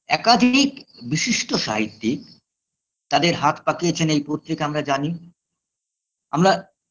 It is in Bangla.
একাধিক বিশিষ্ট সাহিত্যিক তাদের হাত পাকিয়েছেন এই পত্রিকা আমরা জানি আমরা